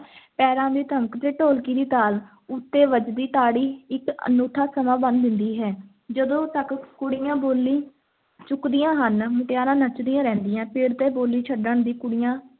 ਪੈਰਾਂ ਦੀ ਧਮਕ ਤੇ ਢੋਲਕੀ ਦੀ ਤਾਲ ਉੱਤੇ ਵੱਜਦੀ ਤਾੜੀ ਇੱਕ ਅਨੂਠਾ ਸਮਾਂ ਬੰਨ੍ਹ ਦਿੰਦੀ ਹੈ l ਜਦੋਂ ਤੱਕ ਕੁੜੀਆਂ ਬੋਲੀ ਚੁੱਕਦੀਆਂ ਹਨ, ਮੁਟਿਆਰਾਂ ਨੱਚਦੀਆਂ ਰਹਿੰਦੀਆਂ, ਪਿੜ ਤੇ ਬੋਲੀ ਛੱਡਣ ਦੀ ਕੁੜੀਆਂ